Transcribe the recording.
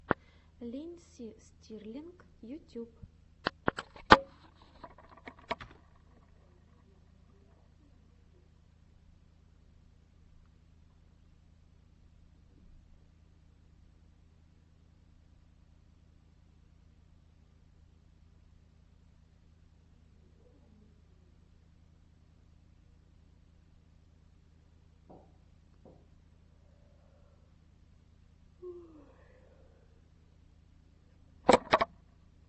линдси стирлинг ютьюб